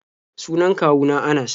Sunan kwawu na Anas.